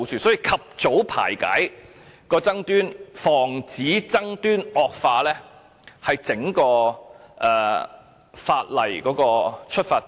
所以，及早排解爭端，防止爭端惡化，是整條《條例草案》的出發點。